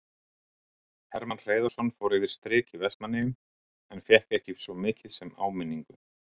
Hermann Hreiðarsson fór yfir strik í Vestmannaeyjum en fékk ekki svo mikið sem áminningu.